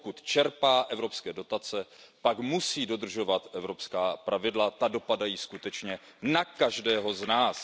Pokud čerpá evropské dotace, tak musí dodržovat evropská pravidla, ta dopadají skutečně na každého z nás.